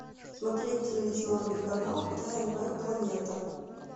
смотреть телевизионный канал тнв планета